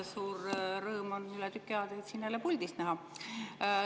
Suur rõõm on teid üle tüki aja jälle puldis näha.